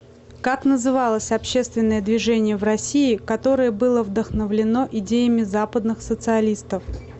как называлось общественное движение в россии которое было вдохновлено идеями западных социалистов